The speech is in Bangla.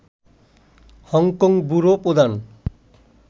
হংকং ব্যুরো প্রধান